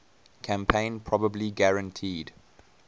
campaign probably guaranteed